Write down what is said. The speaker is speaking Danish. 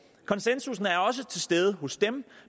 konsensus er også til stede hos dem